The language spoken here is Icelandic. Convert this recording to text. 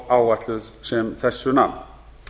ofáætluð sem þessu nam